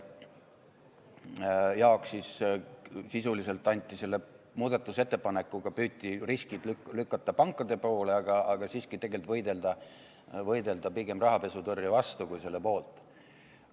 Sisuliselt püüti selle muudatusettepanekuga riskid lükata pankade poole, aga siiski tegelikult võidelda pigem rahapesutõrje vastu kui selle poolt.